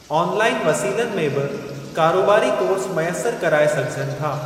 Online वसीलनि में बि कारोबारी कोर्स मुयसिर कराए सघिजनि था।